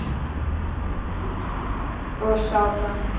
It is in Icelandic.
og sá brann